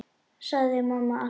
sagði mamma alltaf.